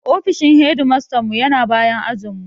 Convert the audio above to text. Ofishin hedimastanmu ya na bayan ajinmu.